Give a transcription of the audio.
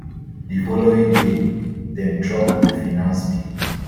di following day dem drop di finance bill